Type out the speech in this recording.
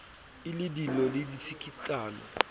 e le dillo le ditsikitlano